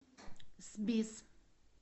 сбис